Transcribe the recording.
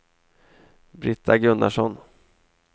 Brita Gunnarsson